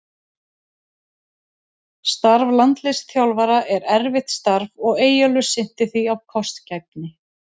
Starf landsliðsþjálfara er erfitt starf og Eyjólfur sinnti því af kostgæfni.